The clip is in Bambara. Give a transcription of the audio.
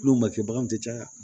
N'o ma kɛ bagan tɛ caya